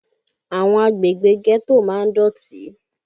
Àwọn àgbègbè ghetto máa ń dọ̀tí